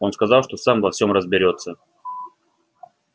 он сказал что сам во всём разберётся